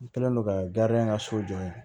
N kɛlen don ka ka so jɔ yen